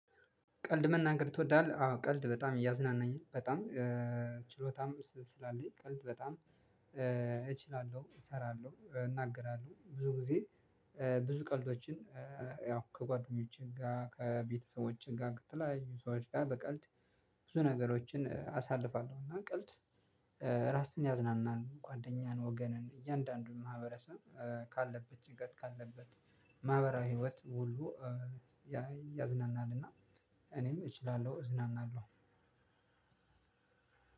ቀልድ መናገር ትወዳለህ አዎ ቀልድ በጣም እያዝናናኝ በጣም ችሎታም ስላለኝ ቀልድ በጣም እችላለሁ እሰራለሁ እናገራለሁ ብዙ ጊዜ ብዙ ቀልዶችን። ያው ከጓደኞቼ ጋር ከቤተሰቦቼ ጋር ከተለያዩዎች ጋር በቀልድ ብዙ ነገሮችን አሳልፋለሁ። እና ቀልድ ራስን ያዝናናል ጓደኛን ወገንን እያንዳንዱን ማህበረሰብ ካለበት ጭንቀት ካለበት ማህበራዊ ህይወት ሁሉ ያዝናናል። እና እኔም እችላለሁ እዝናናለሁ።